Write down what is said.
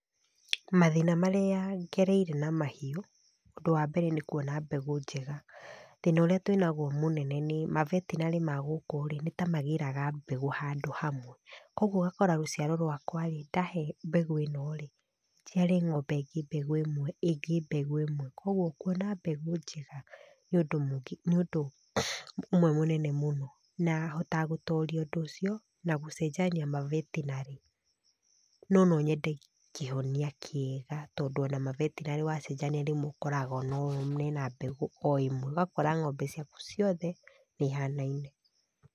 Mathĩna marĩa ngereire na mahiũ, ũndũ wa mbere nĩ kuona mbegũ njega. Thĩna ũrĩa tũĩnaguo mũnene nĩ ma veterinary ma gũkũ rĩ, nĩ ta magĩraga mbegũ handũ hamwe, koguo ũgakora rũciaro rwakwa rĩ, ndahe mbegũ ĩno rĩ, njiare ng'ombe ĩngĩ mbegũ ĩmwe, ĩngĩ mbegũ ĩmwe, koguo kuona mbegũ njega nĩ undũ ũmwe mũnene mũno na hotaga gũtooria ũndũ ũcio na gũcenjania ma veterinary no nonyende kĩhonia kĩega tondũ ona ma veterinary wacenjania rĩmwe ũkoraga mena mbegũ o ĩmwe, ũgakora ng'ombe ciaku ciothe nĩ ihanaine.